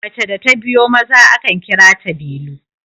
mace da ta biyo Maza akan kira ta delu